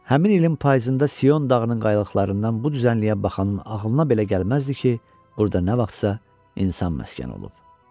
Həmin ilin payızında Sion dağının qayalıqlarından bu düzənliyə baxanın ağlına belə gəlməzdi ki, burada nə vaxtsa insan məskən olub.